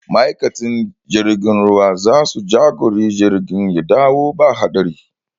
Ma'aikatan jirgin ruwa za su jagori jirgin ya dawo ba haɗari